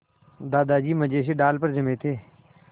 दादाजी मज़े से डाल पर जमे थे